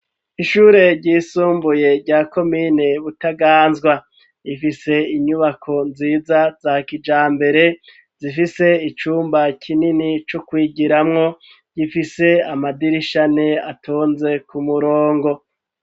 Ishure ryisumbuye rya komine butaganzwa rifise inyubako nziza za kija mbere zifise icumba kinini co kwigiramwo gifise amadirishane atonze ku murongo.